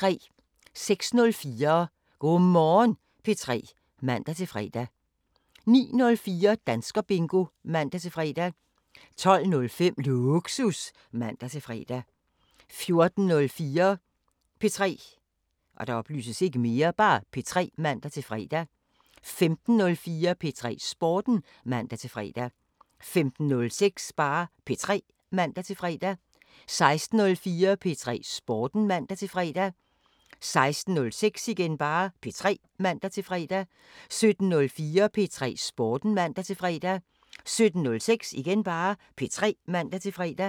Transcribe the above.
06:04: Go' Morgen P3 (man-fre) 09:04: Danskerbingo (man-fre) 12:05: Lågsus (man-fre) 14:04: P3 (man-fre) 15:04: P3 Sporten (man-fre) 15:06: P3 (man-fre) 16:04: P3 Sporten (man-fre) 16:06: P3 (man-fre) 17:04: P3 Sporten (man-fre) 17:06: P3 (man-fre)